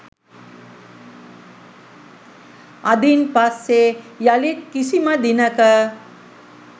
අදින් පස්සේ යළිත් කිසිම දිනක